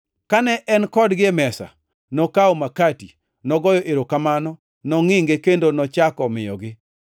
Kane en kodgi e mesa, nokawo makati, nogoyo erokamano, nongʼinge kendo nochako miyogi.